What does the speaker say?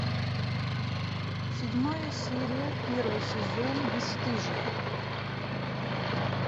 седьмая серия первый сезон бесстыжие